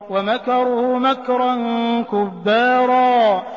وَمَكَرُوا مَكْرًا كُبَّارًا